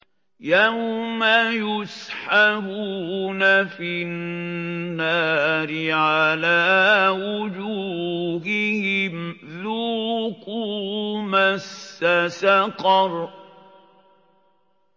يَوْمَ يُسْحَبُونَ فِي النَّارِ عَلَىٰ وُجُوهِهِمْ ذُوقُوا مَسَّ سَقَرَ